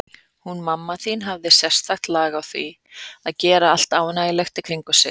Hún mamma þín hafði sérstakt lag á því að gera allt ánægjulegt í kringum sig.